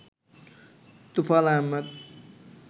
Tofail Ahmed